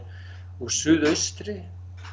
úr suðaustri